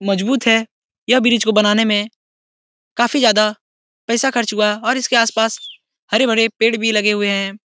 मजबूत है यह ब्रिज को बनाने में काफी ज्यादा पैसा खर्च हुआ और इसके आसपास हरे-भरे पेड़ भी लगे हुए हैं।